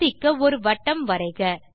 சோதிக்க ஒரு வட்டம் வரைக